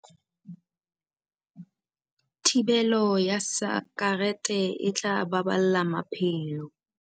Thibelo ya sakerete e tla baballa maphelo.